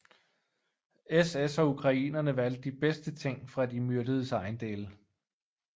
SS og ukrainerne valgte de bedste ting fra de myrdedes ejendele